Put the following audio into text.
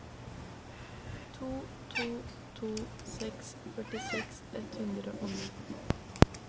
to to to seks førtiseks ett hundre og ni